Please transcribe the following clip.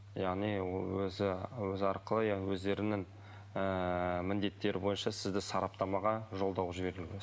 яғни өзі өзі арқылы иә өздерінің ыыы міндеттері бойынша сізді сараптамаға жолдау